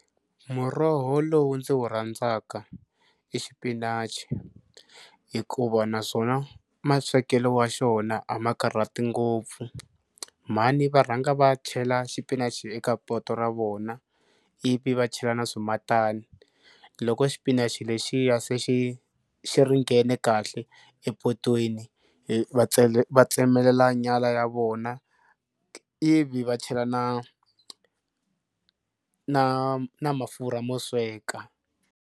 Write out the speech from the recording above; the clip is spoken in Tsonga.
Muroho lowu ndzi wu rhandzaka i xipinachi hikuva naswona maswekelo wa xona a ma karhati ngopfu. Mhani va rhanga va chela xipinachi eka poto ra vona ivi va chela na swimatani loko xipinachi lexiya se xi xi ringene kahle epotweni va tsemelela nyama ya vona ivi va chela na na na mafurha mo sweka.